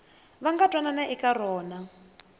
va nga twanana eka rona